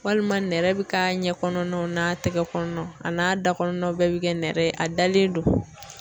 Walima nɛrɛ bi k'a ɲɛ kɔnɔnaw n'a tɛgɛ kɔnɔna a n'a dakɔnɔnaw bɛɛ bi kɛ nɛrɛ ye a dalen do